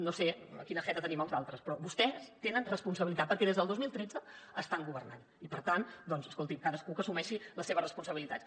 no sé quina jeta tenim els altres però vostès tenen responsabilitat perquè des del dos mil tretze estan governant i per tant doncs escolti’m cadascú que assumeixi les seves responsabilitats